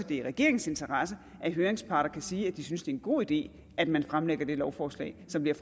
det er i regeringens interesse at høringsparter kan sige at de synes det er en god idé at man fremsætter det lovforslag som vi